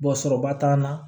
sɔrɔba t'an na